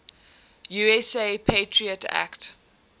usa patriot act